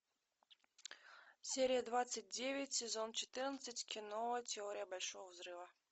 серия двадцать девять сезон четырнадцать кино теория большого взрыва